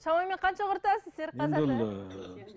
шамамен қанша құртасыз серікқажы ата